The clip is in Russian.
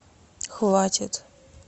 хватит